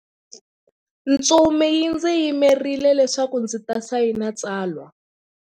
Ntsumi yi ndzi yimerile leswaku ndzi ta sayina tsalwa.